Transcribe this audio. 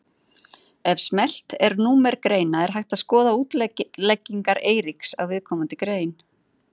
Ef smellt er númer greina er hægt að skoða útleggingar Eiríks á viðkomandi grein.